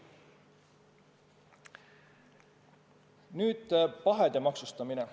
Nüüd pahede maksustamisest.